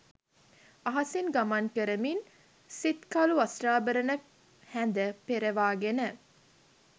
අහසින් ගමන් කරමින්, සිත්කළු වස්ත්‍රාභරණ හැඳ පෙරවාගෙන